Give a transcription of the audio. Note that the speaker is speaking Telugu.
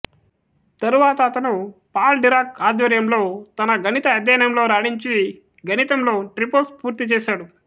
తరువాత అతను పాల్ డిరాక్ ఆధ్వర్యంలో తన గణిత అధ్యయనంలో రాణించి గణితంలో ట్రిపోస్ పూర్తి చేసాడు